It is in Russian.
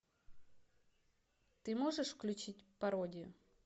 ты можешь включить пародию